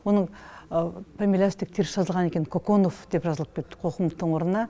оның фамилиясы тек теріс жазылған екен коконов деп жазылып кетіпті қоқымовтың орнына